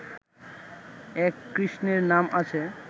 এক কৃষ্ণের নাম আছে